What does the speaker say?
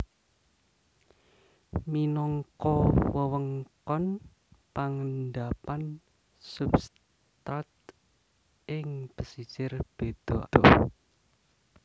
Minangka wewengkon pangendapan substrat ing pesisir beda adoh